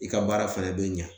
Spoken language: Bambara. I ka baara fɛnɛ be ɲɛ